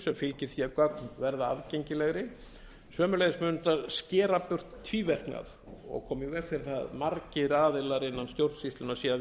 sem fylgir því að gögn verða aðgengilegri sömuleiðis mun það skera burt tvíverknað og koma í veg fyrir það að margir aðilar innan stjórnsýslunnar séu að